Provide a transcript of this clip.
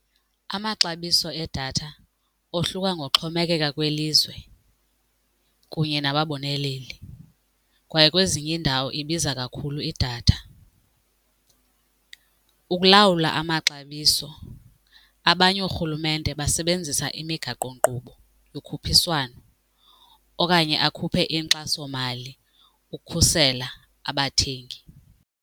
Amaxabiso edatha ohluka ngoxhomekeka kwelizwe kunye nababoneleli kwaye kwezinye iindawo ibiza kakhulu idatha. Ukulawula amaxabiso abanye ooRhulumente basebenzisa imigaqonkqubo yokhuphiswano okanye akhuphe inkxasomali ukukhusela abathengi.